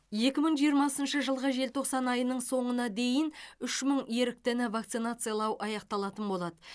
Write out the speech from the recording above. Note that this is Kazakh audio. екі мың жиырмасыншы жылғы желтоқсан айының соңына дейін үш мың еріктіні вакцинациялау аяқталатын болады